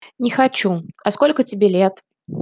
не хочу а сколько тебе лет